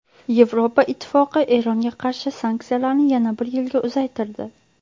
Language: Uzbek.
Yevropa Ittifoqi Eronga qarshi sanksiyalarni yana bir yilga uzaytirdi.